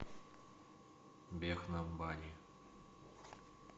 бехнам бани